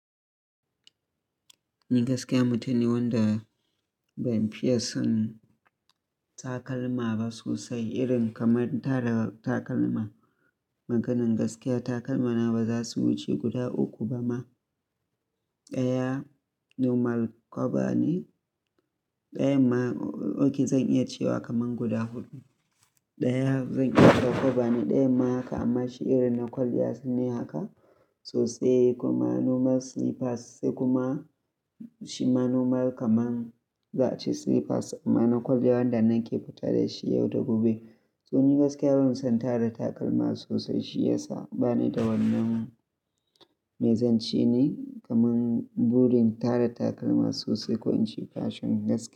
Ni gaskiya mutum ne wanda ban fiye son takalma ba sosai, irin kamar tara takalma. Maganin gaskiya takalmana baza su wuce guda uku ba ma. Ɗaya normal kwaba ne. Ɗayan ma, oke zan iya cewa kaman guda huɗu. Ɗaya zan iya cewa kwaba ne, ɗayan ma haka amma shi irin na kwalliya ne haka sosai kuma normal slippers sai kuma shima normal kaman za a ce slippers amma na kwalliya wanda nan ke fita dashi yau da gobe. To ni gaskiya ban son tara takalma sosai, shi yasa bani da wannan. Mai zance ne kaman burin tara takalma sosai, ko an shi fashion gaskiya.